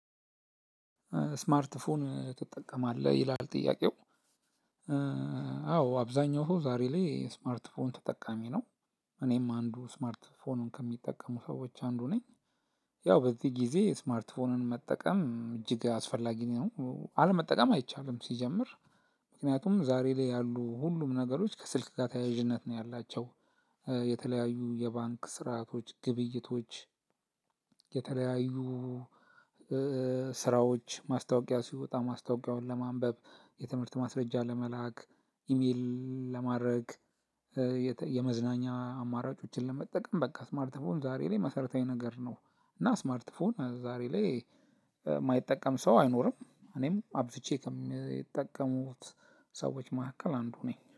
ስማርት ፎን ትጠቀማለህ ይላል ጥያቄው? አዎ አብዛኛው ሰው ዛሬ ላይ ስማርት ፎን ተጠቃሚ ነው። እኔም አንዱ ስማርት ፎን ከሚጠቀሙ ሰዎች አንዱ ነኝ። ያው በዚህ ጊዜ ስማርት ስልክን መጠቀም እጅግ አስፈላጊ ነው አለመጠቀም አይቻልም ሲጀምር። ምክንያቱም ዛሬ ላይ ያሉ ሁሉም ነገሮች ከስልክ ጋር ተያያዥነት ነው ያላቸው። የተለያዩ የባንክ ስርአቶች ግብይቶች። የተለያዩ ስራዎች ማስታወቂያ ሲወጣ ማስታወቂያውን ለማንበብ የትምህርት ማስረጃ ለመላክ ኢሜል ለማድረግ። የመዝናኛ አማራጮችን ለመጠቀም በቃ ስማርት ፎን ዛሬ ላይ መሰረታዊ ነገር ነው። እና ስማርት ፎን ዛሬ ላይ የማይጠቀም ሰው አይኖርም። እኔም አብዝቼ ከምጠቀመው ውስጥ ሰዎች መካከል አንዱ ነኝ